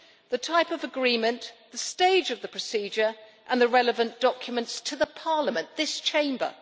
the type of agreement, the stage of the procedure and the relevant documents to Parliament to this Chamber!